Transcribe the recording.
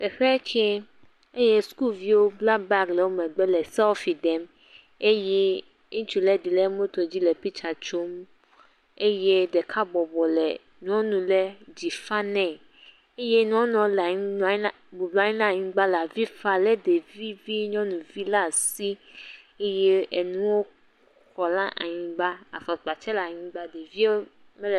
Teƒe tse eye sukuviwo la bagi ɖe megbe le selfi ɖem eye ŋutsu ɖe le moto dzi le pitsa tsom. Eye ɖeka bɔbɔ le nyɔnu ɖe dzi fa nɛ eye nyɔnua le anyi nɔ nyi ɖe nɔ nyi ɖe anyigba le avi le ɖevi vi nyɔnu ɖe asi eye enu kɔ ɖe anyiogba. Afɔkpa tsɛ le anyigba.